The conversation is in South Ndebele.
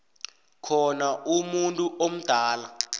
khona umuntu omdala